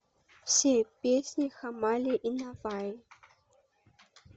все песни хамали и наваи